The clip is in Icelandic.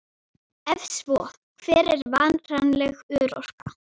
Ef svo, hver er varanleg örorka?